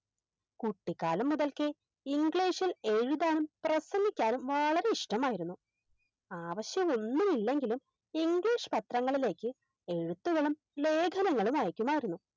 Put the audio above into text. കുട്ടിക്കാലം മുതൽക്കേ English ഇൽ എഴുതാനും പ്രസംഗിക്കാനും വളരെ ഇഷ്ട്ടമായിരുന്നു ആവശ്യമൊന്നുമില്ലെങ്കിലും English പത്രങ്ങളിലേക്ക് എഴുത്തുകളും ലേഖനങ്ങളും അയക്കുമായിരുന്നു